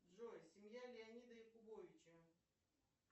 джой семья леонида якубовича